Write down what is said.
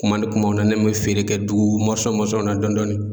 Kuma ni kumaw na ne kun bɛ feere kɛ dugu ma sɔn mɔnso na dɔɔni dɔɔni.